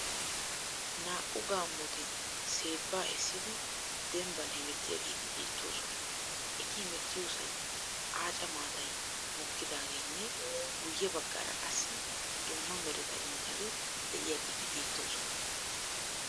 Naa'u gaammoti seebbaa essidi demibban hemettiyageeti beettoosona. Eti hemettiyosan aaca maatayi mokkidaageenne guyye baggaara qassi dumma mereta imotati de'iyageeti beettoosona.